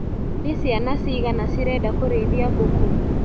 Nĩ ciana cigana cirenda kũrĩithia mbũkũ.